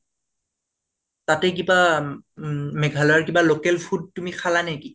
তাতে কিবা উম মেঘালয়ৰ কিবা local food তুমি খালানেকি?